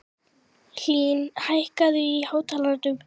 Hlín, hækkaðu í hátalaranum.